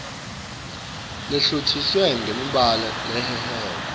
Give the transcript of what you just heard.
lehlotjiswe ngemibalabala lehehako